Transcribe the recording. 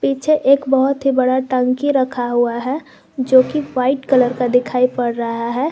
पीछे एक बहुत ही बड़ा टंकी रखा हुआ है जोकि वाइट कलर का दिखाई पड़ रहा है।